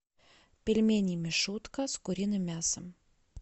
пельмени мишутка с куриным мясом